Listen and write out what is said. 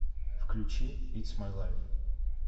включи итс май лайф